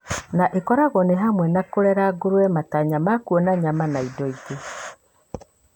na ĩkoragwo nĩ hamwe na kũrera ngũrũwena matanya ma kuona nyama na indo ingĩ.